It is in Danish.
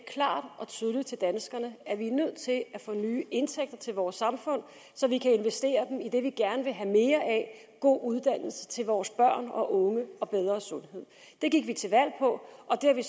klart og tydeligt til danskerne at vi er nødt til at få nye indtægter til vores samfund så vi kan investere dem i det vi gerne vil have mere af god uddannelse til vores børn og unge og bedre sundhed det gik vi til valg på og det har vi